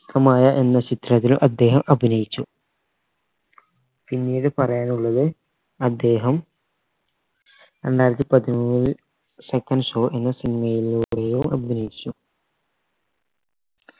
കമായ എന്ന ചിത്രത്തിൽ അദ്ദേഹം അഭിനയിച്ചു പിന്നീട് പറയാനുള്ളത് അദ്ദേഹം രണ്ടായിരത്തി പതിനേഴിൽ second show എന്ന cinema ലൂടെയും അഭിനയിച്ചു